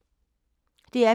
DR P2